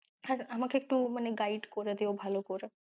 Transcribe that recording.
হ্যাঁ আমাকে একটু guide করে দিও, ভালো করে।